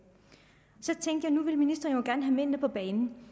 nu vil ministeren jo gerne have mændene på banen